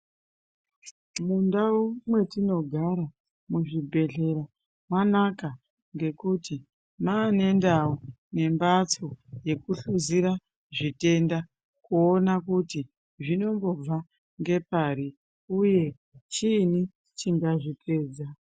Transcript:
Mundau mwetinogara muzvibhedhlera mwanaka ngekuti mwaane ndau yembatso yekuhluzira zvitenda kuona kuti zvinombobva ngepari uye chinyi chingazvipedza.